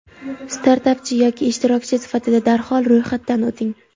startapchi yoki ishtirokchi sifatida darhol ro‘yxatdan o‘ting.